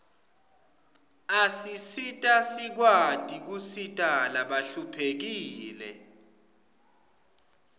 asisita sikwati kusita labahluphekile